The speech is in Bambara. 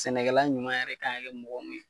Sɛnɛkɛla ɲuman yɛrɛ kan ka kɛ mɔgɔ mun ye